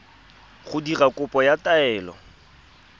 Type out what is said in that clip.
go dira kopo ya taelo